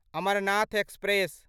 Amarnath express